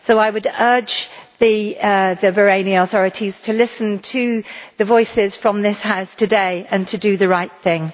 So I would urge the Bahraini authorities to listen to the voices from this House today and to do the right thing.